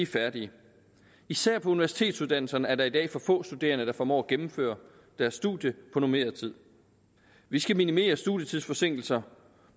færdige især på universitetsuddannelserne er der i dag for få studerende der formår at gennemføre deres studie på normeret tid vi skal minimere studietidsforsinkelser